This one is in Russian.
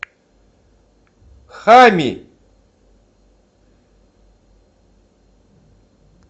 хами